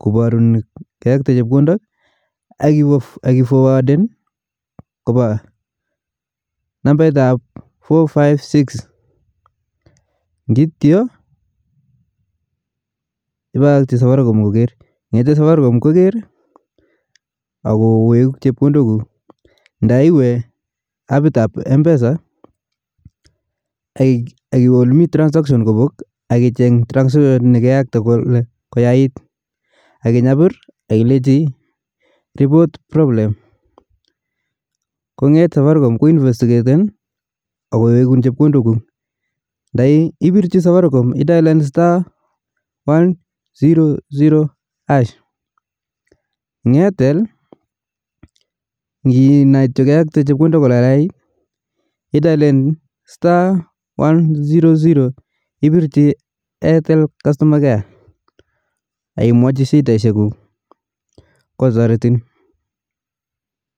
kobarun keyakte chepkondok akiforwaden kopa nambet ap four five six ngiityo ipakaji safaricom koker, ng'ete safaricom koker akowekun chepkondok kuk, ndaiwe apit nepa mpesa akiwe ole mi transaction kopok akichenge ole me transaction kenyokto koyait akinyapir akilechi report problem kong'eet safaricom ko inestigaten akowekun chepkondok kuk, nda ipirchi safaricom idalen star one zero zero hash in airtel kinai kityo ole kayait idalen star one zero zero hash ipirchi airtel kastoma care akimwachi shindaishek kuk